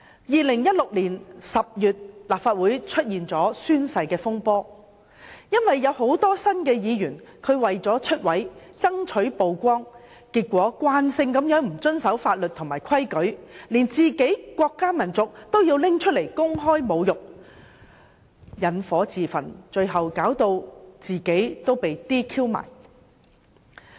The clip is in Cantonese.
2016年10月，立法會出現了宣誓風波，很多新任議員為了"出位"，爭取曝光，慣性地不遵守法律和規矩，連國家民族都拿來公開侮辱，引火自焚，最後導致被 "DQ"。